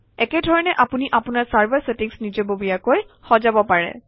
একে ধৰণে আপুনি আপোনাৰ চাৰ্ভাৰ চেটিংচ নিজাববীয়াকৈ সজাব পাৰে